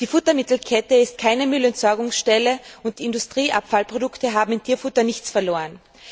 Die Futtermittelkette ist keine Müllentsorgungsstelle und Industrieabfallprodukte haben im Tierfutter nichts verloren.